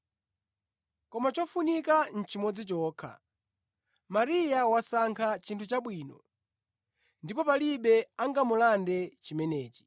koma chofunika nʼchimodzi chokha. Mariya wasankha chinthu chabwino, ndipo palibe angamulande chimenechi.”